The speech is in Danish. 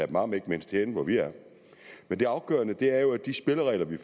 dem om ikke mindst herinde hvor vi er men det afgørende er jo at de spilleregler vi